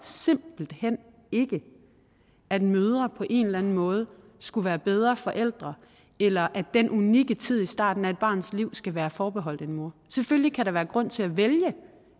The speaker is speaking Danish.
simpelt hen ikke at mødre på en eller anden måde skulle være bedre forældre eller at den unikke tid i starten af et barns liv skal være forbeholdt en mor selvfølgelig kan der være grund til